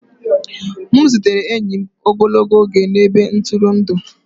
M zutere enyi m ogologo oge na ebe ntụrụndụ